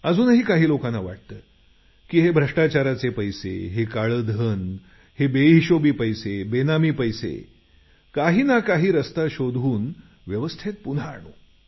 अजूनही काही लोकांना वाटतं की हे भ्रष्टाचाराचे पैसे हे काळे धन हे बेहिशोबी पैसे बेनामी पैसे काहींना काही रस्ता शोधून व्यवस्थेत पुन्हा आणू